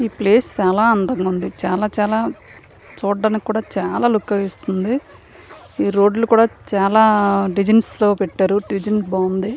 ఈ ప్లేస్ చాలా అందంగా ఉన్నది. చాలా చాలా చూడడానికీ చాలా లూక్ని ఇస్తున్నది. ఈ రోడ్డు లు కూడా చాలా డిజైన్ తో పెట్టారు. డిజైన్ బాగున్నది.